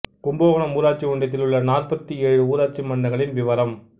கும்பகோணம் ஊராட்சி ஒன்றியத்தில் உள்ள நாற்பத்து ஏழு ஊராட்சி மன்றங்களின் விவரம்